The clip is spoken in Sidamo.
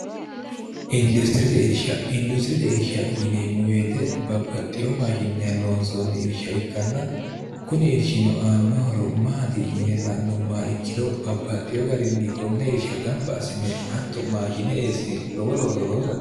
industirite irsha industirite irsha yineemmu weete babbaxxiyo maashinnai loonsoonni irsha ikkanna kuni irshino aannohoro maati yine la'numma ikkiro babbaxxiyo garinni konne irsha gamba asinne atto maashine eessine lowo looso loosakte